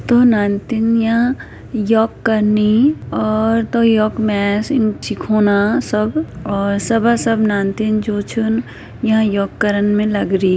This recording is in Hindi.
दो नानतीनयाँ योग कनि और तो योग मैं ना सिखोंना सब और सब सबा नानतिन जु छन यां योग करन में लग री।